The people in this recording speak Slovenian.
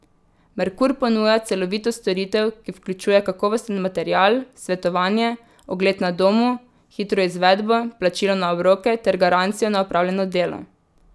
Merkur ponuja celovito storitev, ki vključuje kakovosten material, svetovanje, ogled na domu, hitro izvedbo, plačilo na obroke ter garancijo na opravljeno delo.